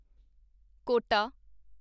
quota